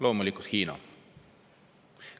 Loomulikult Hiina.